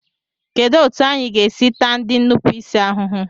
Kedụ etu anyị ga-esi taa ndị nnupụisi ahụhụ?